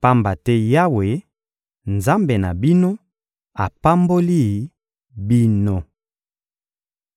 pamba te Yawe, Nzambe na bino, apamboli bino.